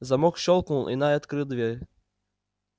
замок щёлкнул и найд открыл дверь